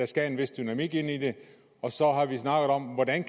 skal en vis dynamik ind i det så har vi snakket om hvordan